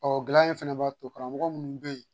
Ɔ gɛlɛya ye fana b'a to karamɔgɔ minnu bɛ yen